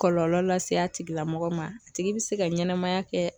Kɔlɔlɔ lase a tigilamɔgɔ ma a tigi be se ka ɲɛnɛmaya kɛ